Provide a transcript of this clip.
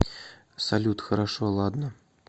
салют хорошо ладно